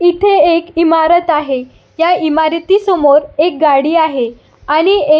इथे एक इमारत आहे ह्या इमारती समोर एक गाडी आहे आणि ए--